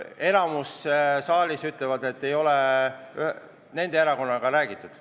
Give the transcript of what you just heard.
Enamik saalis ütleb, et ei ole nende erakonnaga räägitud.